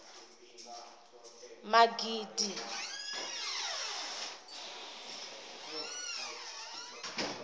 magidi